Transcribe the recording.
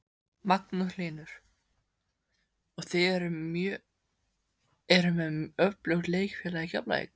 Magnús Hlynur: Og þið eruð með öflugt leikfélag í Keflavík?